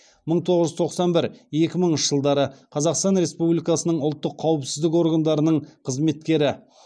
мың тоғыз жүз тоқсан бір екі мыңыншы жылдары қазақстан республикасының ұлттық қауіпсіздік органдарының қызметкері